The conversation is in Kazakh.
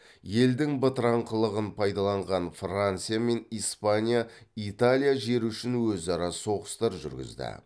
елдің бытыраңқылығын пайдаланған франция мен испания италия жері үшін өзара соғыстар жүргізді